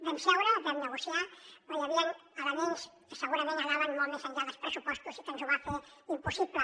vam seure vam negociar però hi havien elements que segurament anaven molt més enllà dels pressupostos i que ens ho va fer impossible